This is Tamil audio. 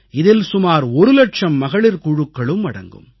இதில் சுமார் ஒரு லட்சம் மகளிர் குழுக்களும் அடங்கும்